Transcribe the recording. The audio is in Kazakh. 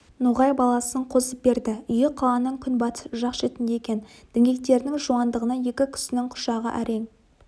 ноғай баласын қосып берді үйі қаланың күнбатыс жақ шетінде екен діңгектерінің жуандығына екі кісінің құшағы әрең